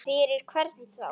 Fyrir hvern þá?